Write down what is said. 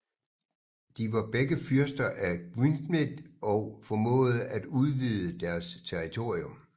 De var begge fyrster af Gwynedd og formåede at udvide deres territorium